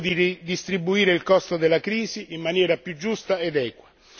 è tempo di ridistribuire il costo della crisi in maniera più giusta ed equa.